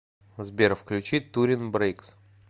сбер включи турин брейкс